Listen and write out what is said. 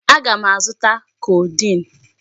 Aga m azụta codeine.